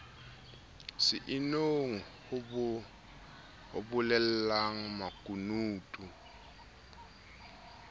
se inong ho bolellana makunutu